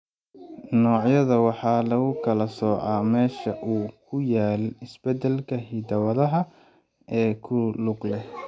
Noocyada waxaa lagu kala soocaa meesha uu ku yaal isbeddelka hidda-wadaha ee ku lug leh.